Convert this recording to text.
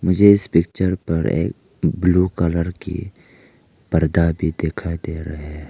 मुझे इस पिक्चर पर एक ब्लू कलर की पर्दा भी दिखाई दे रहा है।